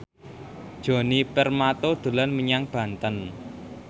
Djoni Permato dolan menyang Banten